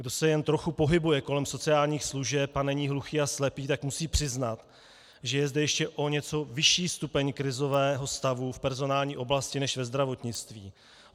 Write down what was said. Kdo se jen trochu pohybuje kolem sociálních služeb a není hluchý a slepý, tak musí přiznat, že je zde ještě o něco vyšší stupeň krizového stavu v personální oblasti než ve zdravotnictví.